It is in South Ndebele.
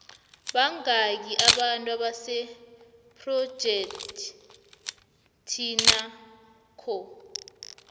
bangaki abantu abasephrojekhthinakho